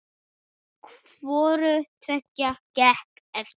Hvoru tveggja gekk eftir.